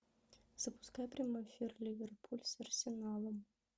запускай прямой эфир ливерпуль с арсеналом